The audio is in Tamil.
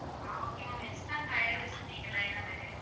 ஆஹ் okay ma'am extra tire வச்சிருப்பீங்கல்ல ஏன்னா திடீர்னு